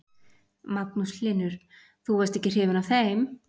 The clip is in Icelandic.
Magnús Hlynur: Þú varst ekki hrifin af þeim?